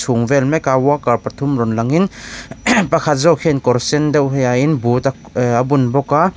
chhung vel mek a worker pathum lo langin pakhat zawk hian kawr sen deuh hi ha in boot a bun bawk a--